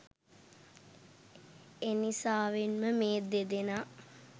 එනිසාවෙන්ම මේ දෙදෙනා